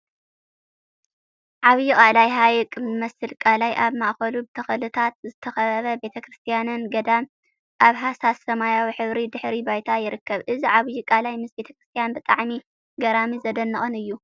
ዓብይ ቃላይ ሓይቅ ዝመስል ቃላይ ኣብ ማእከሉ ብተክልታት ዝተከበበ ቤተ ክርስትያን/ገዳም/ ኣብ ሃሳስ ስማያዊ ሕብሪ ድሕረ ባይታ ይርከብ። እዚ ዓብይ ቃላይ ምስ ቤተ ክርስትያን ብጣዕሚ ገራሚን ዘደንቅን እዩ።